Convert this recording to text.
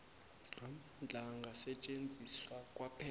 amandla angasetjenziswa kwaphela